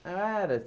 Eu era.